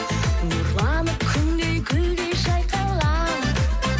нұрланып күндей гүлдей жайқалам